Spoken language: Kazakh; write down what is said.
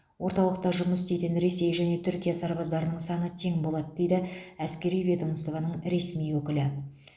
орталықта жұмыс істейтін ресей және түркия сарбаздарының саны тең болады дейді әскери ведомстваның ресми өкілі